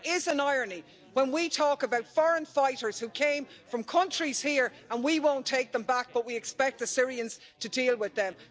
And there is an irony, when we talk about foreign fighters who came from countries here, and we won't take them back, but we expect the Syrians to deal with them.